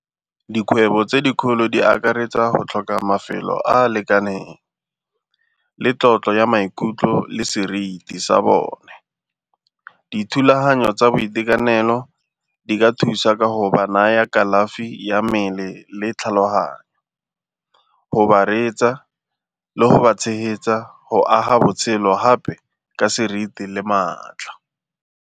Dikgwebo tse dikgolo di akaretsa go tlhoka mafelo a a lekaneng le tlotlo ya maikutlo le seriti sa bone. Dithulaganyo tsa boitekanelo di ka thusa ka go ba naya kalafi ya mmele le tlhaloganyo, go ba reetsa le go ba tshegetsa go aga botshelo gape ka seriti le maatla.